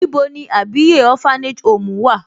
Níbo ní Àbíyè orphanage home wà?